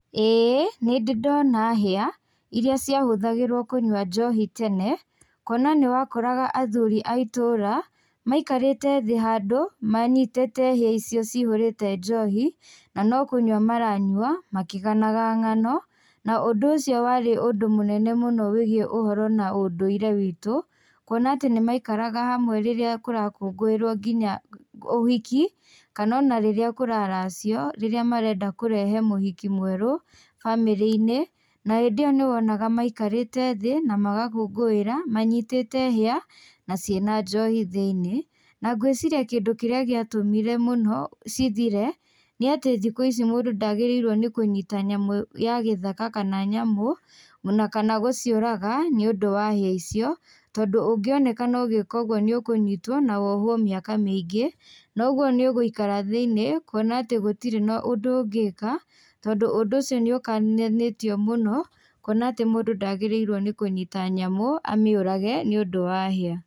ĩĩ nĩndĩndona hĩa ĩrĩa cia hũthagĩrwo kũnyua njohi tene, kuona nĩ wakoraga athuri a itũũra maikarĩte thĩ handũ manyitĩte hĩa icio ci hũrĩte njohi na no kũnyua maranyua makĩganaga ng'ano. Na ũndũ ũcio warĩ ũndũ mũnene mũno wĩgiĩ ũhoro na ũndũire witũ, kuona atĩ nĩ maikaraga hamwe rĩrĩa kũrakũngũirwo nginya ũhiki kana o na rĩrĩa kũraracio rĩrĩa marenda kũrehe mũhiki mwerũ bamĩrĩ-inĩ na hĩndĩ ĩyo nĩwonaga maikarĩte thĩ na magakũngũĩra manyitĩte hĩa na cĩ na njohi thĩiniĩ. Nangũĩciria kĩndũ kĩrĩa gĩatũmire mũno cithire nĩ atĩ thikũ ici mũndũ ndagĩrĩirwo nĩ kũnyita nyamũ ya gĩthaka kana nyamũ o na kana gũciũraga nĩundũ wa hĩa icio, tondũ ũngĩonekana ũgĩka ũguo nĩ ũkũnyitwo na wohwo mĩaka mĩingĩ noguo nĩũgũikara thĩiniĩ kuona atĩ gũtirĩ na ũndũ ũngĩka, tondũ ũndũ ũcio niũkananĩtio mũno kuona atĩ mũndũ ndagĩrĩirwo nĩ kũnyita nyamũ amĩũrage nĩundũ wa hĩa.